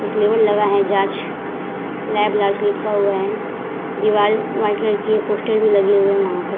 एक लेवल लगा है जांच लैब लॉज लिखा हुआ है दिवार व्हाइट कलर की है पोस्टर भी लगी हुई है वहां पर |